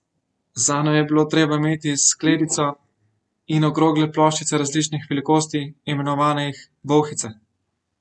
Zanjo je bilo treba imeti skledico in okrogle ploščice različnih velikosti, imenovanih bolhice.